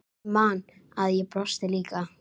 Ég man að ég brosti líka.